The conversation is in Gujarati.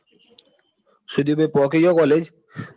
શું થયું ભાઈ પોકી ગયો college